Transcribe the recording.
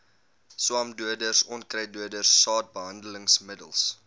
swamdoders onkruiddoders saadbehandelingsmiddels